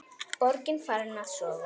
Borgin farin að sofa.